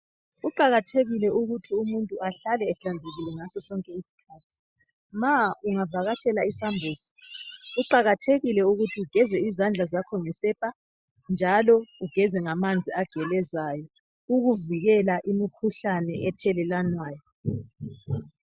Kuqakathekile ukuthi umuntu ahlale ehlanzekile ngaso sonke isikhathi. Ma ungavhakatshela isambuzi kuqakathekile ukuthi ugeze izandla zakho ngesepa njalo ugeze ngamanzi agelezayo ukuvhikela imikhuhlane ethelelwanayo.